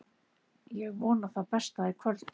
Ég vona það besta í kvöld.